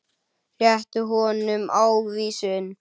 Rétti honum ávísun.